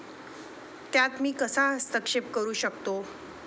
त्यात मी कसा हस्तक्षेप करू शकतो?